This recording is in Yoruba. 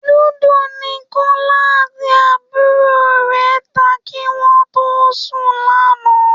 Lúdò ni Kọlá àti àbúrò rẹ ta kí wọ́n tó sùn lánàá